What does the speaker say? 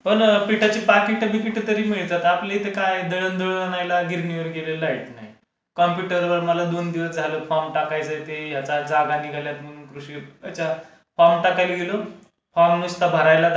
हो ना पिठाची पाकिटं बिकिटं तरी मिळतात. आपल्या इथे काय दळण दळायला गिरणीवर गेले लाईट नाही. कम्प्युटरवर मला दोन दिवस झाले फॉर्म टाकायचा आहे ते याचा जागा निघाल्या आहेत म्हणून कृषी विभागाच्या, फॉर्म टाकायला गेलो फॉर्म नुसतं